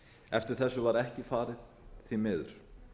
eftir þessu var ekki farið því miður